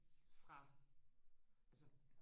fra altså